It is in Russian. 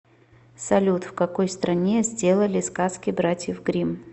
салют в какой стране сделали сказки братьев гримм